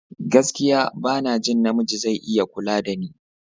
Gaskiya! Bana jin namiji zai iya kula dani.